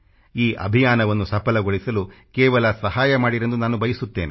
ಈ ಅಭಿಯಾನವನ್ನು ಸಫಲಗೊಳಿಸಲು ಕೇವಲ ಸಹಾಯಮಾಡಿರೆಂದು ನಾನು ಬಯಸುತ್ತೇನೆ